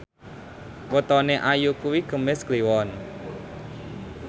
wetone Ayu kuwi Kemis Kliwon